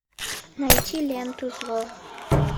найти ленту зло